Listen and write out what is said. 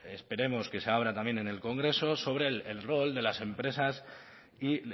esperemos que se abra también en el congreso sobre el rol de las empresas y